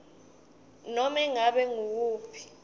nobe ngabe nguwuphi